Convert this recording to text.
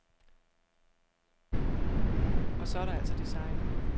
Og så er der altså designet.